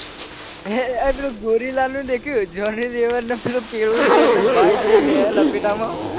એ પેલો ગોરીલાનું દેખ્યું હે જોની લીવર કેળું લે એટલે ભાઈ જે લેહ લપેટામાં